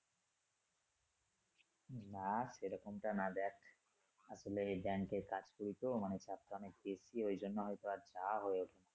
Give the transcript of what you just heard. না সেরকম টা না দেখ আসলে ব্যাংকে কাজ করি তো মানে কাজটা অনেক বেশি ওইজন্য হয়তো আর তা হয়ে উঠে না।